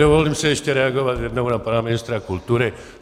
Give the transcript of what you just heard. Dovolím si ještě reagovat jednou na pana ministra kultury.